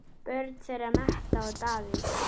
Börn þeirra Metta og Davíð.